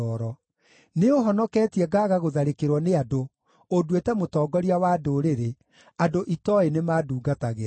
Nĩũũhonoketie ngaaga gũtharĩkĩrwo nĩ andũ; ũnduĩte mũtongoria wa ndũrĩrĩ; andũ itooĩ nĩmandungatagĩra.